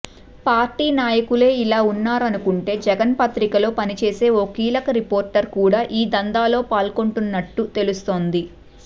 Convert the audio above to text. party నాయకులే ఇలా ఉన్నారనుకుంటే జగన్ పత్రికలో పనిచేసే ఓ కీలక రిపోర్టర్ కూడా ఈ దందాలో పాల్గొంటున్నట్టు తెలుస్తోంది